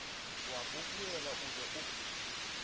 wa bobiala o ne o